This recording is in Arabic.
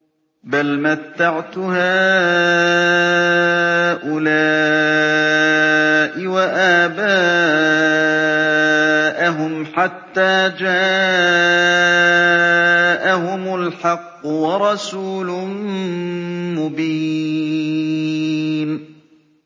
بَلْ مَتَّعْتُ هَٰؤُلَاءِ وَآبَاءَهُمْ حَتَّىٰ جَاءَهُمُ الْحَقُّ وَرَسُولٌ مُّبِينٌ